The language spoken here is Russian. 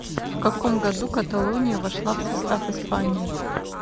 в каком году каталония вошла в состав испании